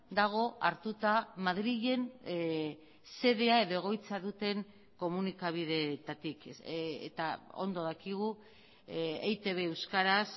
dago hartuta madrilen xedea edo egoitza duten komunikabidetatik eta ondo dakigu eitb euskaraz